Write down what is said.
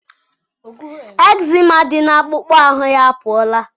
Ekzema dị n'akpụkpọ ahụ ya apụọla